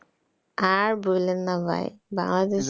আর বইলেন না ভাই,